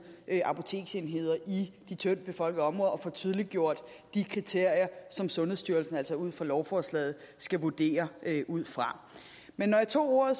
apoteksenheder i de tyndtbefolkede områder og får tydeliggjort de kriterier som sundhedsstyrelsen altså ud fra lovforslaget skal vurdere det ud fra men når jeg tog ordet